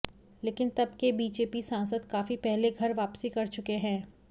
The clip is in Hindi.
लेकिन तब के बीजेपी सांसद काफी पहले घर वापसी कर चुके हैं